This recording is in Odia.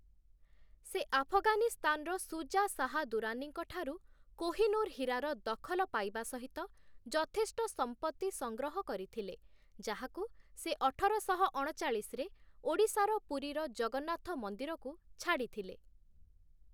ସେ ଆଫଗାନିସ୍ତାନର ଶୁଜା ଶାହା ଦୁରାନୀଙ୍କଠାରୁ କୋହ-ଇ-ନୂର ହୀରାର ଦଖଲ ପାଇବା ସହିତ ଯଥେଷ୍ଟ ସମ୍ପତ୍ତି ସଂଗ୍ରହ କରିଥିଲେ, ଯାହାକୁ ସେ ଅଠରଶହ ଅଣଚାଳିଶରେ ଓଡ଼ିଶାର ପୁରୀର ଜଗନ୍ନାଥ ମନ୍ଦିରକୁ ଛାଡ଼ିଥିଲେ ।